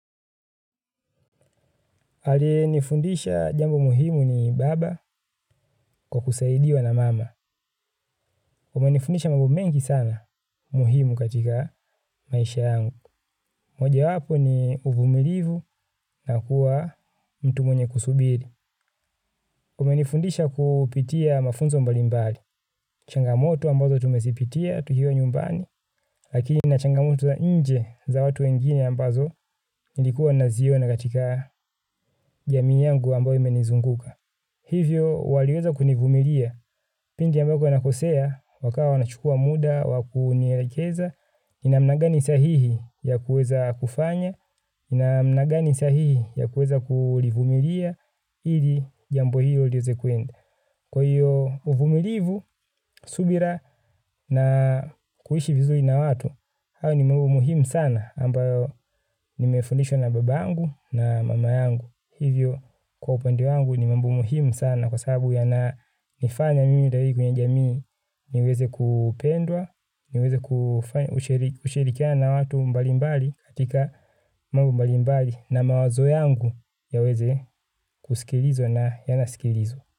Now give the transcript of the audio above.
Aliyenifundisha jambo muhimu ni baba kwa kusaidiwa na mama. Umenifundisha mambo mengi sana muhimu katika maisha yangu. Mojawapo ni uvumilivu na kuwa mtu mwenye kusubiri. Umenifundisha kupitia mafunzo mbalimbali. Changamoto ambazo tumezipitia tukiwa nyumbani. Lakini na changamoto za nje za watu wengine ambazo nilikuwa naziona katika jamii yangu ambayo imenizunguka. Hivyo waliweza kunivumilia, pindi ambako nakosea, wakawa wanachukua muda, wa kunielekeza, ni namna gani sahihi ya kuweza kufanya, ni namna gani sahihi ya kuweza kulivumilia, ili jambo hilo liweze kuenda. Kwa hiyo uvumilivu, subira na kuishi vizuri na watu, hayo ni mambo muhimu sana ambayo nimefundishwa na babangu na mama yangu. Hivyo kwa upende wangu ni mambo muhimu sana kwa sababu yananifanya mimi daiku nye jamii niweze kupendwa, niweze kushirikiana na watu mbalimbali katika mambo mbalimbali na mawazo yangu yaweze kusikilizwa na yanasikilizwa.